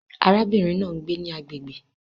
Arábìnrin náà ń gbé ní agbègbè